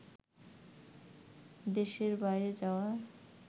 দেশের বাইরে যাওয়া